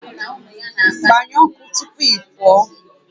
Gbanyụọ ọkụ tupu ị pụọ